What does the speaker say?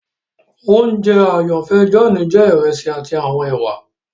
Ounjẹ àyànfẹ John jẹ iresi ati awọn èwà